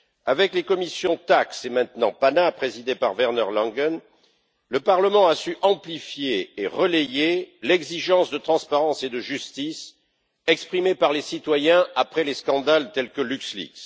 Avec les commissions TAXE et maintenant PANA, présidée par Werner Langen, le Parlement a su amplifier et relayer l'exigence de transparence et de justice exprimée par les citoyens après les scandales tels que LuxLeaks.